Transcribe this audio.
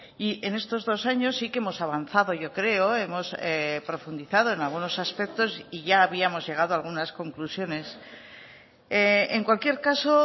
y en estos dos años sí que hemos avanzado yo creo hemos profundizado en algunos aspectos y ya habíamos llegado a algunas conclusiones en cualquier caso